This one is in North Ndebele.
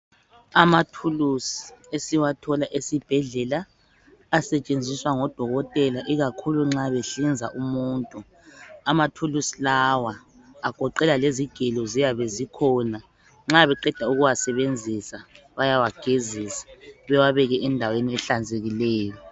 Amathuluzi esiwathola esibhedlela asetshenziswa ngodokotela ikakhulu nxa behlinza umuntu. Amathuluzi lawa agoqela lezigelo zikhona. Nxa beqeda ukuwasebenzisa bayawageza bewabeke endaweni ehlanzekileyo